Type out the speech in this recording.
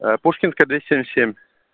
пушкинская двести семьдесят семь